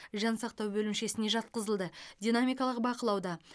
жансақтау бөлімшесіне жатқызылды динамикалық бақылауда